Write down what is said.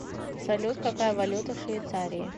салют какая валюта в швейцарии